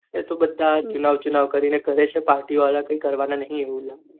એતો બધા ચુનાવ ચુનાવ કરીને કરે છે party અવર કરવાના નહિ